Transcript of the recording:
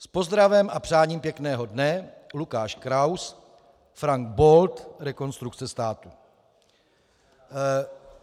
S pozdravem a přáním pěkného dne Lukáš Kraus, Frank Bold, Rekonstrukce státu."